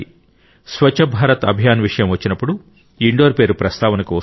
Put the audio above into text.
స్వచ్ఛ భారత్ అభియాన్ విషయం వచ్చినప్పుడు ఇండోర్ పేరు ప్రస్తావనకు వస్తుంది